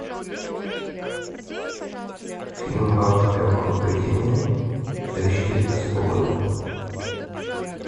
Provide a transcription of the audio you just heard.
фильм бабушка легкого поведения две тысячи девятнадцатого года